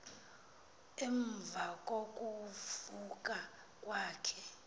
emva kokuvuka kwakhe